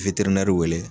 wele